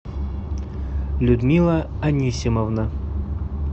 людмила анисимовна